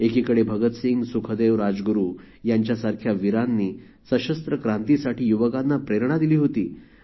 एकीकडे भगतसिंग सुखदेव राजगुरु यांच्यासारख्या वीरांनी सशस्त्र क्रांतीसाठी युवकांना प्रेरणा दिली होती